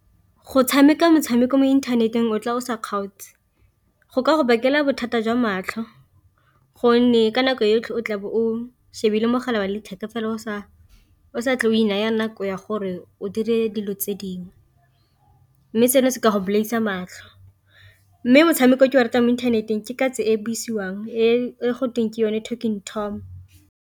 Go tshameka motshameko mo inthaneteng o tla o sa kgaotse go ka go bakela bothata jwa matlho, gonne ka nako e yotlhe o tla bo o shebile mogala wa letheka fela o sa tle o inaya nako ya gore o dire dilo tse dingwe. Mme seno se ka go bolaisa matlho. Mme motshameko o ke o ratang mo inthaneteng ke katse e buisiwang e gotweng ke yone Talking Tom.